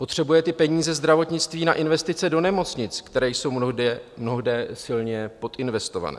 Potřebuje ty peníze zdravotnictví na investice do nemocnic, které jsou mnohde silně podinvestované.